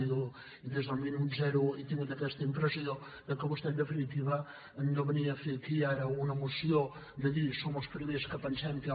i des del minut zero he tingut aquesta impressió que vostè en definitiva no venia a fer aquí ara una moció de dir som els primers que pensem que hi ha